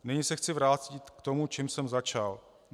Nyní se chci vrátit k tomu, čím jsem začal.